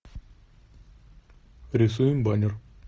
рисуем баннер